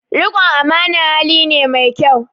Riƙon amana hali ne mai kyau